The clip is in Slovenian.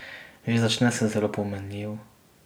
Že začne se zelo pomenljivo.